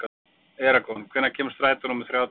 Eragon, hvenær kemur strætó númer þrjátíu og eitt?